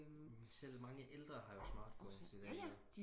men selv mange ældre har jo smartphones i dag ikke også